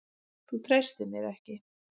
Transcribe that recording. Þú treystir mér ekki!